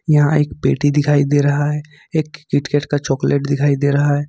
यहां एक पेटी दिखाई दे रहा है एक किट केट का चॉकलेट दिखाई दे रहा है।